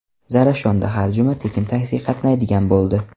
Zarafshonda har juma tekin taksi qatnaydigan bo‘ldi.